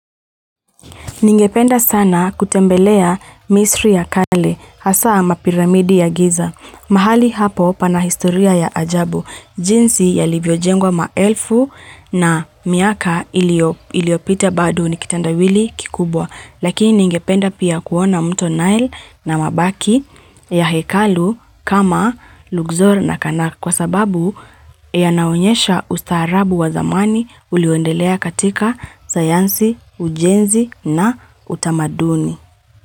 Ningependa sana kutembelea misri ya kale, hasa ama piramidi ya giza. Mahali hapo pana historia ya ajabu. Jinsi yalivyo jengwa maelfu na miaka iliopita bado ni kitendawili kikubwa. Lakini ningependa pia kuona mto nile na mabaki ya hekalu kama lugzor na kanak kwa sababu yanaonyesha ustaarabu wa zamani ulioendelea katika sayansi, ujenzi na utamaduni.